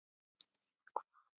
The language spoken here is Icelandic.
Nema hvað?!